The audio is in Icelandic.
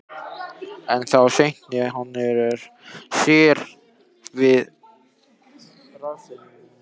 En þá sneri hann sér við og hraðaði sér út.